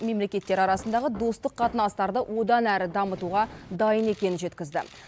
мемлекеттер арасындағы достық қатынастарды одан әрі дамытуға дайын екенін жеткізді